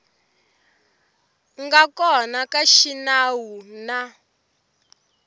nga kona xa xinawu na